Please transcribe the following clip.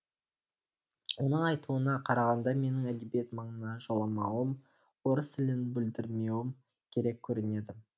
оның айтуына қарағанда менің әдебиет маңына жоламауым орыс тілін бүлдірмеуім керек көрінеді